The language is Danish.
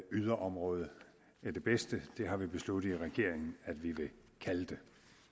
yderområde er det bedste det har vi besluttet i regeringen at vi vil kalde det